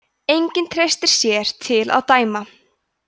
enginn treysti sér til að dæma